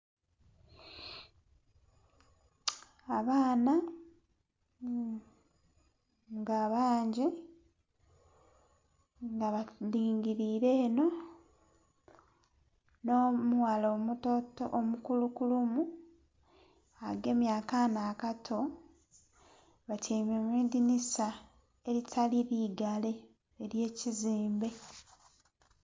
Abaana nga bangi nga balingirire eno n'omughala omutoto ...omukulukulumu agemye akaana akato batyaime mu idhinisa eritali ligale ery'ekizimbe.